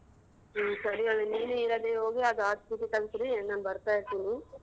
ಹ್ಮ್ ಸರಿ ಹಂಗಂದ್ರೆ ನೀನು ಹೀರಾದೇವಿ ಹೋಗಿ ಅದ್ ತೆಗಿಸ್ರೀ ನಾನ್ ಬರ್ತಾ ಇರ್ತೀನಿ.